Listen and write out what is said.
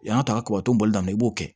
Yan ka kɔkɔ tɔnbɔli daminɛ i b'o kɛ